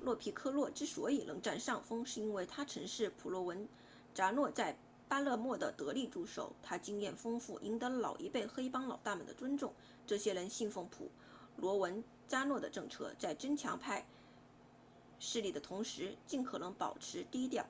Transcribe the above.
洛皮科洛之所以能占上风是因为他曾是普罗文扎诺在巴勒莫的得力助手他经验丰富赢得了老一辈黑帮老大们的尊重这些人奉行普罗文扎诺的政策在增强帮派势力的同时尽可能保持低调